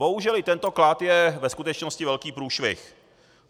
Bohužel i tento klad je ve skutečnosti velký průšvih.